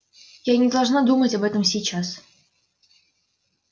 я не должна думать об этом сейчас